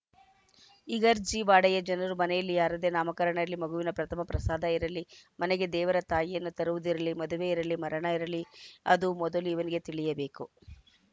ಇಗರ್ಜಿ ವಾಡೆಯ ಜನರ ಮನೆಯಲ್ಲಿ ಯಾರದ್ದೇ ನಾಮಕರಣ ಇರಲಿ ಮಗುವಿಗೆ ಪ್ರಥಮ ಪ್ರಸಾಧ ಇರಲಿ ಮನೆಗೆ ದೇವರ ತಾಯಿಯನ್ನ ತರುವುದಿರಲಿ ಮದುವೆ ಇರಲಿ ಮರಣ ಇರಲಿ ಅದು ಮೊದಲು ಇವರಿಗೆ ತಿಳಿಯ ಬೇಕು